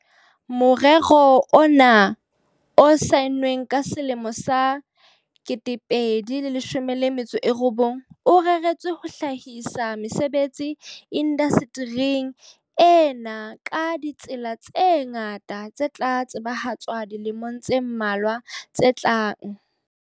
"Morero noa o saennweng ka selemo sa 2019, o reretswe ho hlahisa mesebetsi indaste ring ena ka ditsela tse ngata tse tla tsebahatswa dilemong tse mmalwa tse tlang."